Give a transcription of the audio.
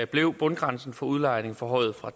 blev bundgrænsen for udlejning forhøjet fra